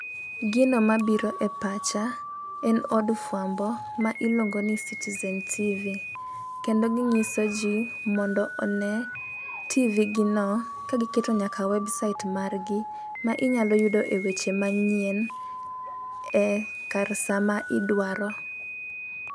Gino mabiro e pacha en od fwambo ma iluongo ni citizen tivi . Kendo ginyiso jii mondo one tivi gi no ka giketo nyaka website margi ma inyalo yudo e weche manyien e kar saa ma idwaro.